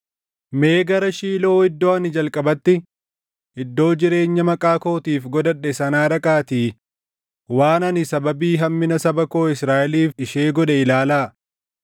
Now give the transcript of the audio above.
“ ‘Mee gara Shiiloo iddoo ani jalqabatti iddoo jireenya Maqaa kootiif godhadhe sanaa dhaqaatii waan ani sababii hammina saba koo Israaʼeliif ishee godhe ilaalaa.